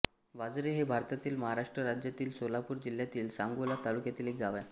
वाझरे हे भारतातील महाराष्ट्र राज्यातील सोलापूर जिल्ह्यातील सांगोला तालुक्यातील एक गाव आहे